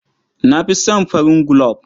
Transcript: Na fi son farin gulob.